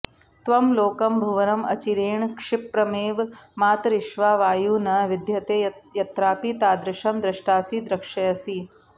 त्वं लोकं भुवनं अचिरेण क्षिप्रमेव मातरिश्वा वायुः न विद्यते यत्रापि तादृशं द्रष्टासि द्रक्ष्यसि